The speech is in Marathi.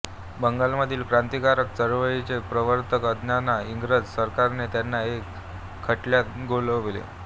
बंगालमधील क्रांतिकारक चळवळीचे प्रवर्तक असताना इंग्रज सरकारने त्यांना एका खटल्यात गोवले